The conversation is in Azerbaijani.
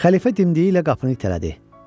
Xəlifə dimdiyi ilə qapını itələdi.